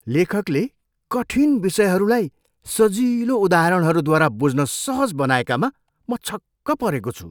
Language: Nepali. लेखकले कठिन विषयहरूलाई सजिलो उदाहरणहरूद्वारा बुझ्न सहज बनाएकामा म छक्क परेको छु।